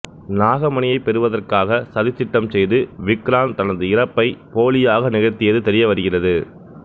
நாகமணியைப் பெறுவதற்காக சதித்திட்டம் செய்து விக்ராந்த் தனது இறப்பைப் போலியாக நிகழ்த்தியது தெரியவருகிறது